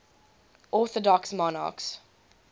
orthodox monarchs